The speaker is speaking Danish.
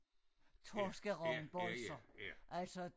Torskerogn boisa altså